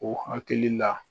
O hakili la.